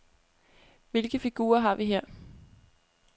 Hvilke figurer har vi her?